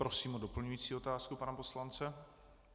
Prosím o doplňující otázku pana poslance.